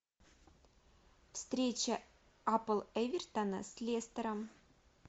встреча апл эвертона с лестером